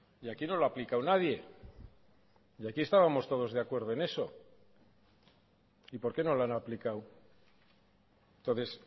y aquí no lo ha aplicado nadie y aquí estábamos todos de acuerdo en eso y por qué no lo han aplicado entonces